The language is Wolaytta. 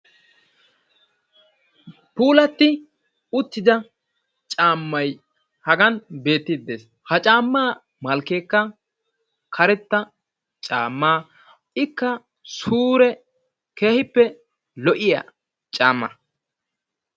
Puulatti uttida caammay Hagan beettidi des; ha caamma malkeekka karetta caama; ikka sure keehippe lo'iya caamma.